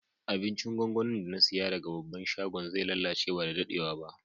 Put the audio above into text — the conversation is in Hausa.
Abincin gwangwanin da na siya daga babban shagon zai lallace ba da daddewa ba.